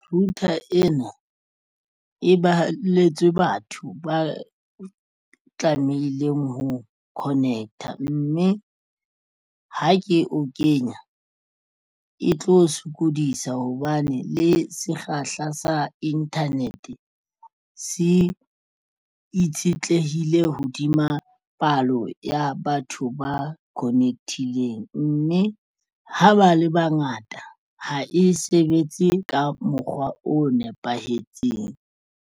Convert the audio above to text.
Router ena e balletswe batho ba tlameileng ho connect-a mme ha ke o kenya e tlo sokodisa hobane le sekgahla sa internet se itshetlehile hodima palo ya batho ba connect-ileng mme ha ba le bangata ha e sebetse ka mokgwa o nepahetseng.